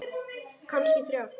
Kannski þrjár.